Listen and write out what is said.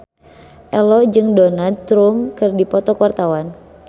Ello jeung Donald Trump keur dipoto ku wartawan